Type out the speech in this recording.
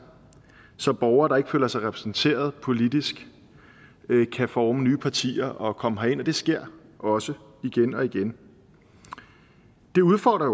så borgere der ikke føler sig repræsenteret politisk kan forme nye partier og komme herind og det sker også igen og igen det udfordrer